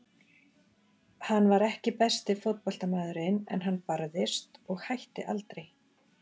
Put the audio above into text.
Hann var ekki besti fótboltamaðurinn en hann barðist og hætti aldrei.